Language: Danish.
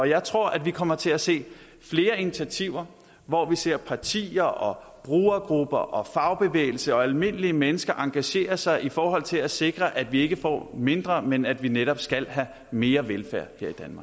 jeg tror at vi kommer til at se flere initiativer hvor vi ser partier og brugergrupper og fagbevægelse og almindelige mennesker engagere sig i forhold til at sikre at vi ikke får mindre men at vi netop skal have mere velfærd